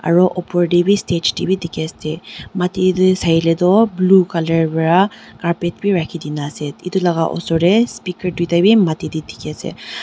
aru opor te bhi stage te bhi dekhi ase matti te sai le tu blue colour para carpet bhi rakhi Dina ase etu laga osor te speaker duita bhi dekhe ase.